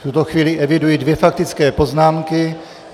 V tuto chvíli eviduji dvě faktické poznámky.